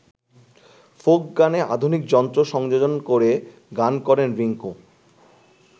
Folk গানে আধুনিক যন্ত্র সংযোজন করে গান করেন রিংকু।